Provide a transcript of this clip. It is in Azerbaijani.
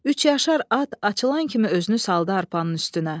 Üç yaşar at açılan kimi özünü saldı arpanın üstünə.